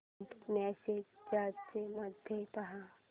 Saint messages मध्ये पहा